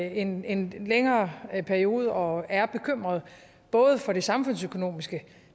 igennem en længere periode og er bekymrede både for det samfundsøkonomiske